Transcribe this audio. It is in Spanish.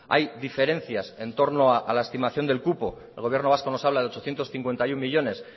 hay diferencias en torno a la estimación del cupo el gobierno vasco nos hablo de ochocientos cincuenta y uno millónes